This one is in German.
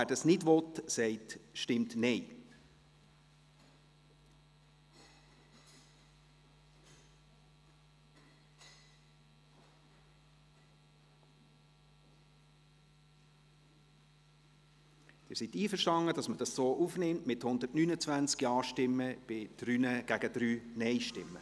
«Der Grosse Rat regelt in einem Dekret die Kernaufgaben der Direktionen und der Staatskanzlei und legt darin die Bezeichnungen der Direktionen fest.»